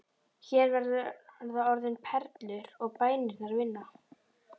Hér verða orðin perlur og bænirnar vinna.